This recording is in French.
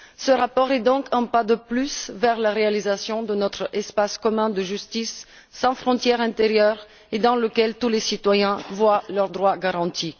Ce rapport est donc un pas de plus vers la réalisation de notre espace commun de justice, sans frontières intérieures, dans lequel tous les citoyens voient leurs droits garantis.